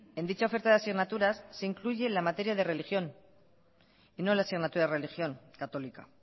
en dicha oferta de asignaturas se incluye la materia de religión y no la asignatura de religión católica